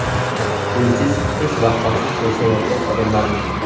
Uysiz, hech vaqosiz yashayotgan odamlarmiz.